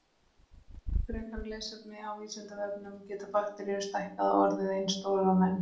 Frekara lesefni á Vísindavefnum: Geta bakteríur stækkað og orðið eins stórar og menn?